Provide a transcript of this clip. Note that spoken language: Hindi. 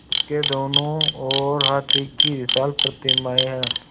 उसके दोनों ओर हाथी की विशाल प्रतिमाएँ हैं